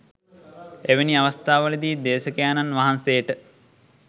එවැනි අවස්ථාවලදී දේශකයාණන් වහන්සේට